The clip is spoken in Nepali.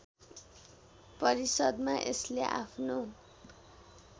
परिषद्‍मा यसले आफ्नो